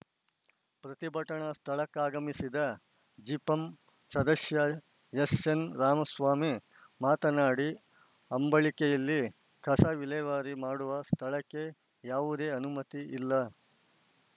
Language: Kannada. ಪ್ರತಿಭಟನಾ ಸ್ಥಳಕ್ಕಾಗಮಿಸಿದ ಜಿಪಂ ಸದಶ್ಯ ಎಸ್‌ಎನ್‌ರಾಮಸ್ವಾಮಿ ಮಾತನಾಡಿ ಅಂಬಳಿಕೆಯಲ್ಲಿ ಕಸ ವಿಲೇವಾರಿ ಮಾಡುವ ಸ್ಥಳಕ್ಕೆ ಯಾವುದೇ ಅನುಮತಿ ಇಲ್ಲ